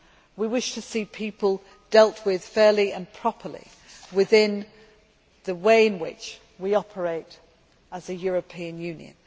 We wish to see people dealt with fairly and properly, within the way in which we operate as a European Union.